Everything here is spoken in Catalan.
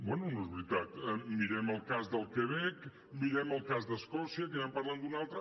bé no és veritat mirem el cas del quebec mirem el cas d’escòcia que ja en parlen d’un altre